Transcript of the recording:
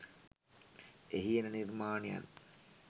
එහි එන නිර්මාණයන්